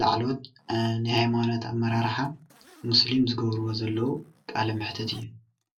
ላዕሎዎት ሃይማኖት ኣመራርሓ ሙስሊም ዝገብርዎ ዘለው ቃለመሕተት እዩ።